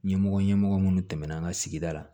Ɲɛmɔgɔ ɲɛmɔgɔ minnu tɛmɛna an ka sigida la